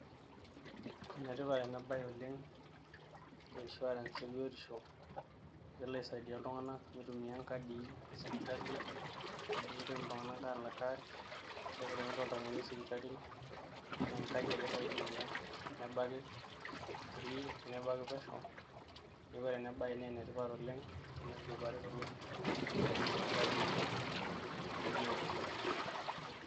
Enetipat ena baye oleng e insurance ebiotisho amu kelo aisaidia iltung'anak mitumia inkadii esipitali nemitoki iltung'anak aalak cash keeku tenelo oltamoyiai sipitali naa enkadi ake elo aitumia nebaki free nebaki pesho neeku ore ena baye naa enetipat oleng tenitudupari tolosho aitumia inkadii ebiotisho.